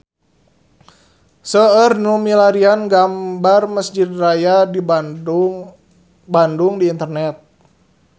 Seueur nu milarian gambar Mesjid Raya Bandung di internet